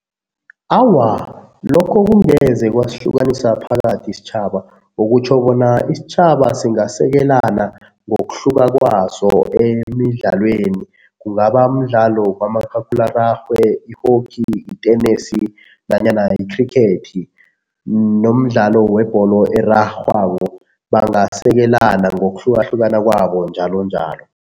Awa, lokho kungeze kwasihlukanisa phakathi isitjhaba. Okutjho bona isitjhaba singasekelana ngokuhluka kwaso emidlalweni, kungaba mdlalo kamakhakhulararhwe, i-hockey, itenesi nanyana ikhrikhethi nomdlalo webholo erarhwako. Bangasekelana ngokuhlukahlukana kwabo njalonjalo.